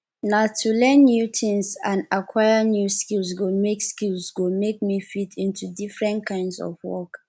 na to learn new tings and aquire new skills go make skills go make me fit into different kinds of work